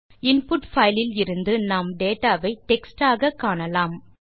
input file லிலிருந்து நாம் data வை டெக்ஸ்ட் ஆக காணலாம்